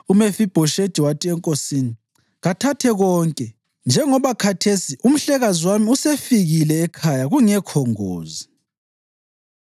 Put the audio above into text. UMefibhoshethi wathi enkosini, “Kathathe konke, njengoba khathesi umhlekazi wami usefikile ekhaya kungekho ngozi.”